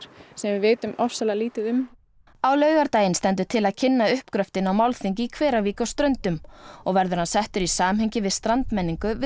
sem við vitum ofsalega lítið um á laugardaginn stendur til að kynna uppgröftinn á málþingi í Hveravík á Ströndum og verður hann settur í samhengi við strandmenningu við